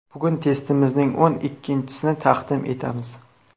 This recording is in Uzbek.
Bugun testimizning o‘n ikkinchisini taqdim etamiz.